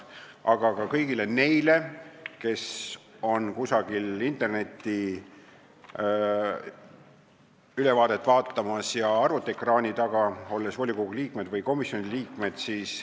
Ja kinnitan seda ka kõigile neile, kes vaatavad kusagil arvutiekraani taga internetist ülekannet, olles mõne volikogu liikmed või komisjoni liikmed.